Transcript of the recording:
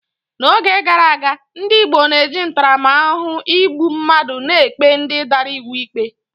N'oge gara aga, ndị Igbo na-eji ntaramahụhụ igbu mmadụ na-ekpe ndị dara iwu ikpe